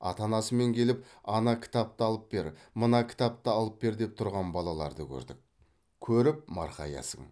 ата анасымен келіп ана кітапты алып бер мына кітапты алып бер деп тұрған балаларды көрдік көріп марқаясың